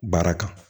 Baara kan